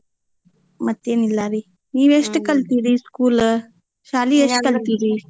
ಮತ್ ಎನಿಲ್ಲಾರೀ ನೀವ್ ಎಸ್ಟ್ ಕಲ್ತಿರೀ school ಶಾಲಿ ಕಲ್ತಿರೀ?